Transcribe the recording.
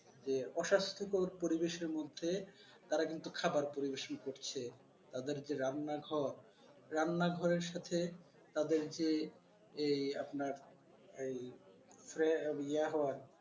যে অস্বাস্থ্যকর পরিবেশের মধ্যে তারা কিন্তু খাবার পরিবেশন করছে তাদের যে রান্নাঘর রান্নাঘরের সাথে তাদের যে এই আপনার এই ইয়া হওয়া আর